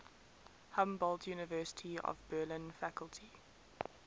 humboldt university of berlin faculty